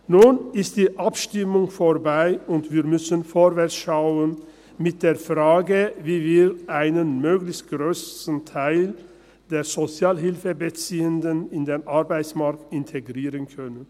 Nun ist die Abstimmung vorbei, und wir müssen vorwärtsschauen, mit der Frage, wie wir einen möglichst grossen Teil der Sozialhilfebeziehenden in den Arbeitsmarkt integrieren können.